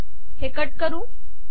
हे कट करू